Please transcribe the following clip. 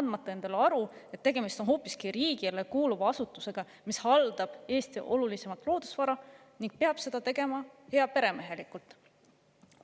andmata endale aru, et tegemist on hoopiski riigile kuuluva asutusega, mis haldab Eesti olulisimat loodusvara ning peab seda tegema heaperemehelikult.